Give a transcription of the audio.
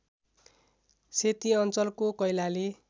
सेती अञ्चलको कैलाली